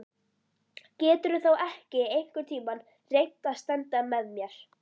Geturðu þá ekki einhvern tíma reynt að standa með mér?